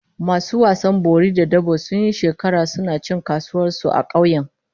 Masu wasan bori da dabo sun yi shekaru suna cin kasuwar su a kauyen